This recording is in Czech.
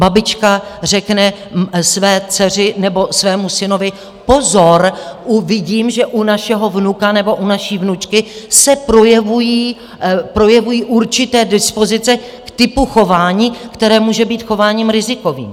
Babička řekne své dceři nebo svému synovi: Pozor, vidím, že u našeho vnuka nebo u naší vnučky se projevují určité dispozice k typu chování, které může být chováním rizikovým.